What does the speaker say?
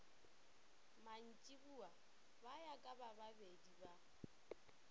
mantšiboa ba ya kabababedi ba